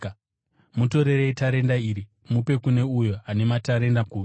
“ ‘Mutorerei tarenda iri mupe kune uyo ane matarenda gumi.